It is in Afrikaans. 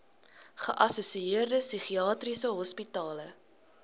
geassosieerde psigiatriese hospitale